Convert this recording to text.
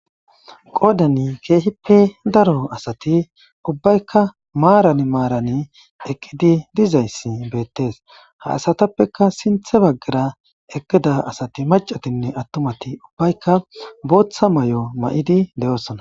qoodani keehippe daro asati ubbaykka maaran maaran eqqidi dizayssi beettees ha asatappeka sinthe baggara eqqida asati macatinne attumati ubbaykka booththa may7o ma7idi de7oosona